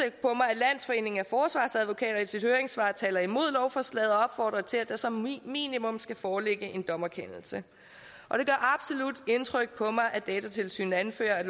at landsforeningen af forsvarsadvokater i sit høringssvar taler imod lovforslaget og opfordrer til at der som minimum skal foreligge en dommerkendelse og det gør absolut indtryk på mig at datatilsynet anfører